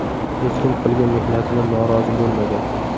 Hech kim qilgan mehnatidan norozi bo‘lmagan.